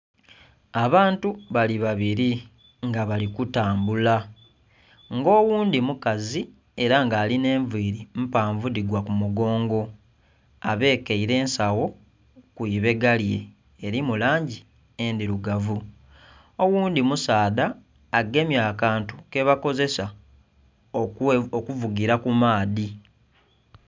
Abantu bali babili nga bali kutambula, nga oghundhi omukazi ela nga alinha enviili mpanvu dhigwa ku mugongo, abekeile ensagho ku ibega lye eli mu langi endhilugavu, oghundhi musaadha agemye akantu kebakozesa okuvugila ku maadhi.